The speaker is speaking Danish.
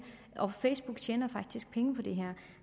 og facebook tjener faktisk penge på det her